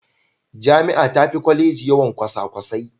Jami'a tafi Kwaleji yawan kwasakwasai.